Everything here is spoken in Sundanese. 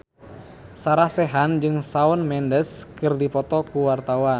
Sarah Sechan jeung Shawn Mendes keur dipoto ku wartawan